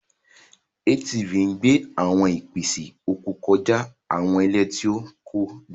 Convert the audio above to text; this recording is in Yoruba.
ATV ń gbé àwọn ìpèsè oko kọjá àwọn ilẹ̀ tí kò dára.